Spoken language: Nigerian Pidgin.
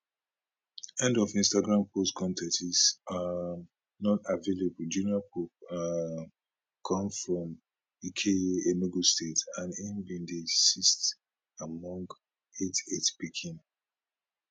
end of instagram post con ten t is um not available junior pope um come from ukehe enugu state and im be di sixth among eight eight pikin